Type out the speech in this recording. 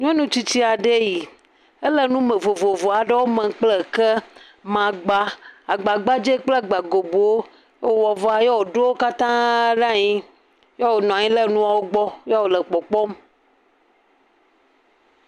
Nyɔnutsitsi aɖe eyi, ele nu vovovowo mem kple ke, magba, agbagbadzewo kple agbagobowo, ye wòwɔ vɔa, ye wòɖo wo katãa le anyi, ye wònɔ anyi ɖe nuawo gbɔ ye wòle kpɔkpɔm.